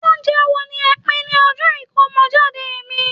ounjẹ wo ni e pin ní ọjọ Ikomojade mi